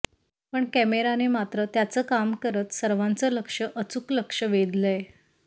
पण कॅमेराने मात्र त्याच काम करत सर्वांच लक्ष अचूक लक्ष वेधलयं